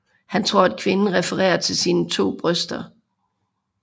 Han tror at kvinden refererer til sine to bryster